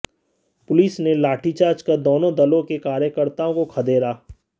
police ने लाठीचार्ज कर दोनों दलों के कार्यकर्ताओं को खदेड़ा